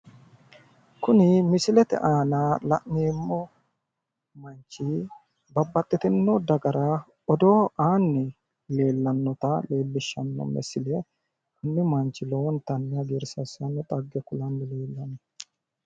Kuni misilete aana la'neemmo manchi babbaxxitinno dagara odoo aanni leellannota leellishshanno misile, kuni manchi lowontanni hagiirsiissanno xagge kulanni leellanno.